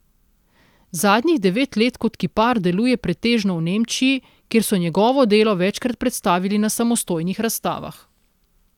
Zadnjih devet let kot kipar deluje pretežno v Nemčiji, kjer so njegovo delo večkrat predstavili na samostojnih razstavah.